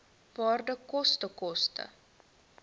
waarde koste koste